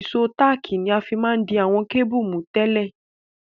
Ìsó tààkì ni a ma n fi di àwon cable mú tẹ́lẹ̀